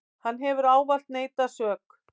Hann hefur ávallt neitað sök.